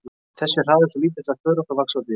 Þessi hraði er svo lítill að þörungar vaxa á dýrinu.